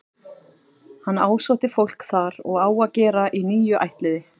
Hann ásótti fólk þar og á að gera í níu ættliði.